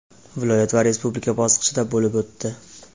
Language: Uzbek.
viloyat va Respublika bosqichida bo‘lib o‘tdi.